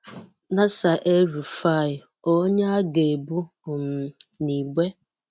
Nasir-el Rufai: onye a ga-ebu um na igbe?